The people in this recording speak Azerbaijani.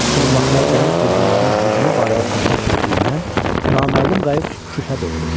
Son vaxtlar dəniz quldurlarının hücumu barədə söhbət getdiyindən naməlum qayıq şübhə doğurur.